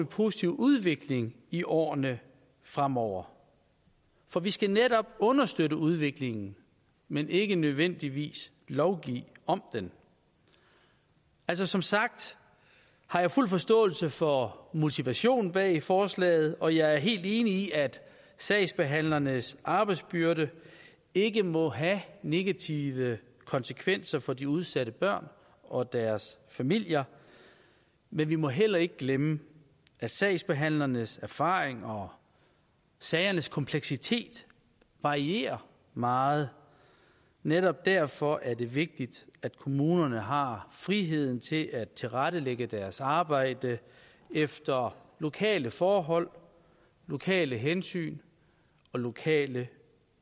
positiv udvikling i årene fremover for vi skal netop understøtte udviklingen men ikke nødvendigvis lovgive om den altså som sagt har jeg fuld forståelse for motivationen bag forslaget og jeg er helt enig i at sagsbehandlernes arbejdsbyrde ikke må have negative konsekvenser for de udsatte børn og deres familier men vi må heller ikke glemme at sagsbehandlernes erfaring og sagernes kompleksitet varierer meget netop derfor er det vigtigt at kommunerne har friheden til at tilrettelægge deres arbejde efter lokale forhold lokale hensyn og lokale